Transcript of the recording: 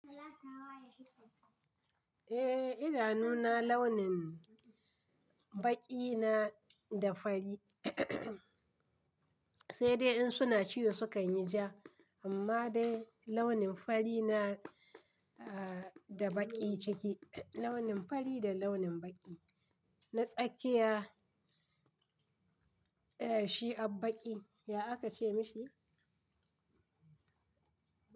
Eh idanuna launin baƙi na da fari, sai dai in suna ciwo sukanyi ja, amma dai launin fari na da baƙi ciki. Launin fari da launin baƙi. Na tsakiya, shi abbaƙi ya aka ce mishi,